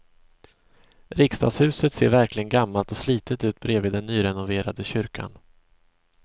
Riksdagshuset ser verkligen gammalt och slitet ut bredvid den nyrenoverade kyrkan.